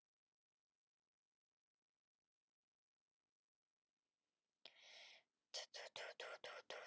Guðfríður, kanntu að spila lagið „Hægt og hljótt“?